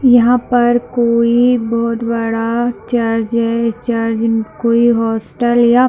यहाँ पर कोई बहुत बड़ा चर्च है चर्च या कोई हॉस्टल या --